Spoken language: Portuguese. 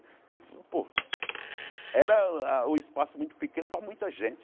Porque, pô, era ah um espaço muito pequeno para muita gente.